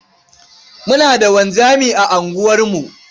Muna da wanzami a unguwarmu.